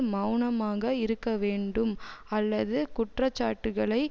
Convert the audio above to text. மெளனமாக இருக்க வேண்டும் அல்லது குற்றச்சாட்டுக்களை